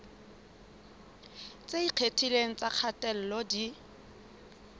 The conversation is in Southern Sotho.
tse ikgethileng tsa kgatello di